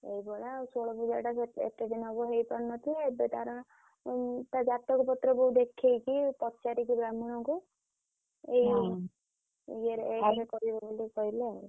ସେଇ ଭଳିଆ ଆଉ ଷୋଳ ପୁଜାଟା ଏତେ ଦିନ ହେବ ହେଇ ପାରିନଥିଲା ଏବେ ତାର ଜାତକ ପତ୍ର ବୋଉ ~ଦେ ~ଖେଇକି ପଚାରିକି ବ୍ରାହ୍ମଣକୁ ଏଇ ଇଏରେ କରେଇବେ ବୋଲି କହିଲେ ଆଉ।